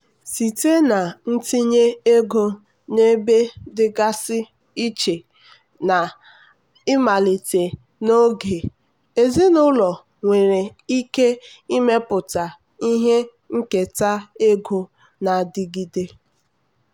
site na ntinye ego n'ebe dịgasị iche na imalite n'oge ezinụlọ nwere ike ịmepụta ihe nketa ego na-adịgide.